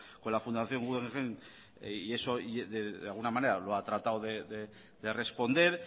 con la fundación guggenheim y eso de alguna manera lo ha tratado de responder